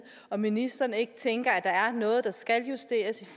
om ministeren ikke tænker at der er noget der skal justeres i